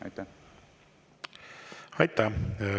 Aitäh!